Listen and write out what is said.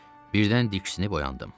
Birdən diksinib oyandım.